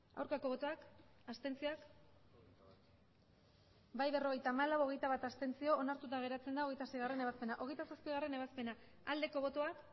aurkako botoak abstenzioak emandako botoak hirurogeita hamabost bai berrogeita hamalau abstentzioak hogeita bat onartuta gelditzen da hogeita seigarrena ebazpena hogeita zazpigarrena ebazpena aldeko botoak